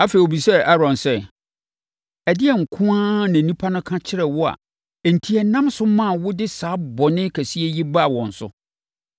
Afei, ɔbisaa Aaron sɛ, “Ɛdeɛn nko ara na nnipa no ka kyerɛɛ wo a enti ɛnam so maa wode saa bɔne kɛseɛ yi baa wɔn so?”